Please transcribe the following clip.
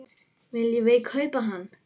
Viljum við kaupa hann?